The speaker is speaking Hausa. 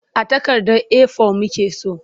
A takardar A4 muke so.